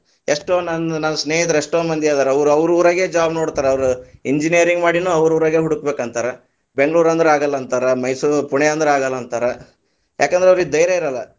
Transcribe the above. ಎಷ್ಟೋ ನಂದ್ ನನ್ನ ಸ್ನೇಹಿತರ ಎಷ್ಟೋ ಮಂದಿ ಅದಾರ, ಅವ್ರ್ ಅವ್ರ ಊರಾಗೆ job ನೋಡ್ತಾರ ಅವ್ರ engineering ಮಾಡೀನೂ ಅವ್ರ ಊರಾಗೇನೆ ಹುಡುಕಬೇಕ ಅಂತಾರ, ಬೆಂಗಳೂರ್ ಅಂದ್ರ ಆಗಲ್ಲಾ ಅಂತಾರ, ಮೈಸೂರ, ಪುಣೆ ಅಂದ್ರ ಅಗಲ್ಲಾ ಅಂತಾರ, ಯಾಕಂದ್ರ ಅವ್ರೀಗೆ ಧೈಯ೯ ಇರಲ್ಲ.